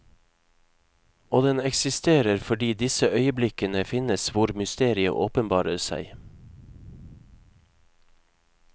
Og den eksisterer fordi disse øyeblikkene finnes hvor mysteriet åpenbarer seg.